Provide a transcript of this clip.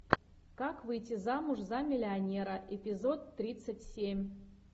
как выйти замуж за миллионера эпизод тридцать семь